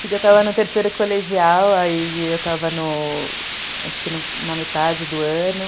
Porque eu estava no terceiro colegial e eu estava no na metade do ano.